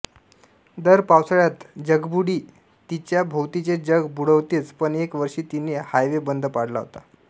दर पावसाळ्यात जगबुडी तिच्या भोवतीचे जग बुडवतेच पण एका वर्षी तिने हायवे बंद पाडला होता